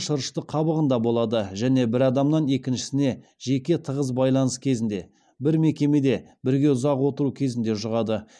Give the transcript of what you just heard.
шырышты қабығында болады және бір адамнан екіншісіне жеке тығыз байланыс кезінде бір мекемеде бірге ұзақ отыру кезінде жұғады